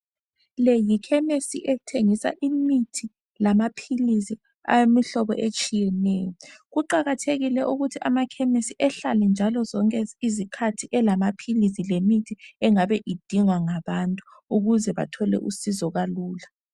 Le yikhemesi ethengisa imithi lamaphilisi awemihlobo etshiyeneyo. Kuqakathekile n ukuthi amakhemisi ahlale njalo elemithi, lamaphilisi, ayabe edingwa ngabantu ukuze bathole usizo kalula.